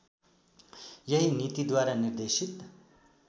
यही नीतिद्वारा निर्देशित